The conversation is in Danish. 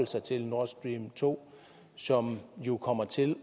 sig til nord stream to som jo kommer til